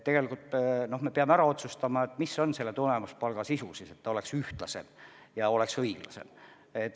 Tegelikult me peame ära otsustama, mis on tulemuspalga sisu, et see oleks ühtlasem ja oleks õiglasem.